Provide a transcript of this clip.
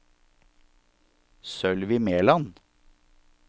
Sølvi Mæland